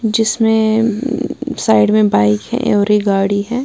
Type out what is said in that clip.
जिसमें साइड मैं एक बाइक हैं और एक गाड़ी हैं।